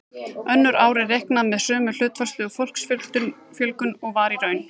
Önnur ár er reiknað með sömu hlutfallslegu fólksfjölgun og var í raun.